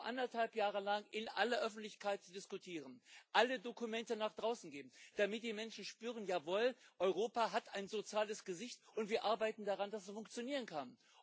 Etwa anderthalb Jahre lang in aller Öffentlichkeit zu diskutieren, alle Dokumente nach draußen geben, damit die Menschen spüren Jawohl, Europa hat ein soziales Gesicht, und wir arbeiten daran, dass es funktionieren kann.